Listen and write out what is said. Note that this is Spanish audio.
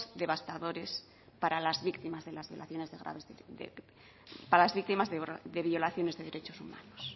devastadores para las víctimas de violaciones de derechos humanos